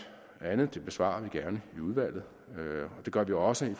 og andet dem besvarer vi gerne i udvalget og det gør vi også i